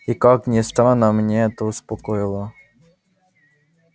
и как ни странно мне это успокоило